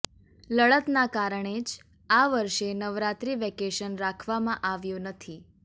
લડતના કારણે જ આ વર્ષે નવરાત્રી વેકેશન રાખવામાં આવ્યુ નથી